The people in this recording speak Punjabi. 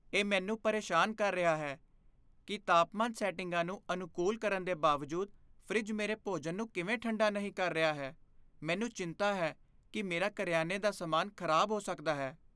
ਇਹ ਮੈਨੂੰ ਪਰੇਸ਼ਾਨ ਕਰ ਰਿਹਾ ਹੈ ਕੀ ਤਾਪਮਾਨ ਸੈਟਿੰਗਾਂ ਨੂੰ ਅਨੁਕੂਲ ਕਰਨ ਦੇ ਬਾਵਜੂਦ ਫਰਿੱਜ ਮੇਰੇ ਭੋਜਨ ਨੂੰ ਕਿਵੇਂ ਠੰਡਾ ਨਹੀਂ ਰੱਖ ਰਿਹਾ ਹੈ ਮੈਨੂੰ ਚਿੰਤਾ ਹੈ ਕੀ ਮੇਰਾ ਕਰਿਆਨੇ ਦਾ ਸਮਾਨ ਖ਼ਰਾਬ ਹੋ ਸਕਦਾ ਹੈ